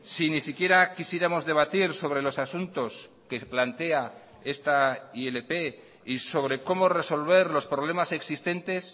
si ni siquiera quisiéramos debatir sobre los asuntos que plantea esta ilp y sobre como resolver los problemas existentes